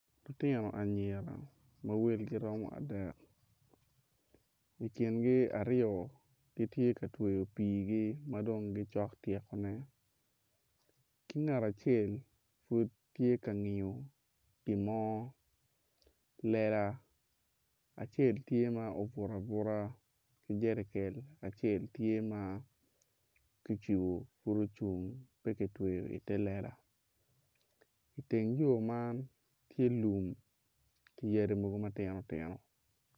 Lutino anyira ma welgi romo adek i kingi aryo gitye ka tweyo piigi madong gicok tyekone ki ngat acel pud tye ka ngiyo pi mo lela acel tye ma obutu abuta ki jerikel acel tye ma ki cibu pud ocung pe kicibu ite lela i teng yo man tye lum ki yadi mogo matino tino